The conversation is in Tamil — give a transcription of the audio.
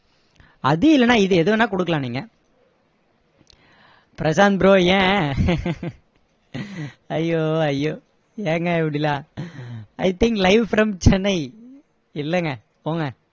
அது இல்லனா இது எது வேணும்னா கொடுக்கலாம் நீங்க பிரசாந்த் bro ஏன் அய்யோ அய்யோ ஏங்க இப்படியெல்லாம் i think live from chennai இல்லைங்க போங்க